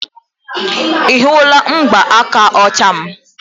ị hụla mgbaaka ọcha m